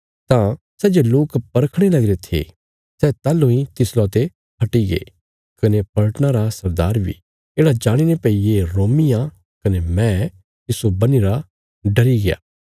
तां सै जे लोक परखणे लगे थे सै ताहलूं इ तिसला ते हटीगे कने पलटना रा सरदार बी येढ़ा जाणीने भई ये रोमी आ कने मैं तिस्सो बन्हीरा डरी गया